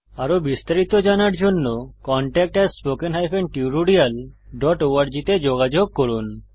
আরো বিস্তারিত জানার জন্য contactspoken tutorialorg তে যোগাযোগ করুন